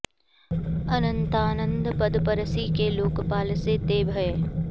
अनंतानंद पद परसि कै लोकपाल से ते भये